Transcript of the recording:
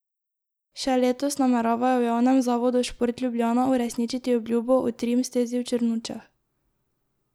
Še letos nameravajo v javnem zavodu Šport Ljubljana uresničiti obljubo o trim stezi v Črnučah.